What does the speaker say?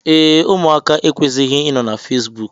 Ee, ụmụaka ekwesighi inọ na Fesbụụk.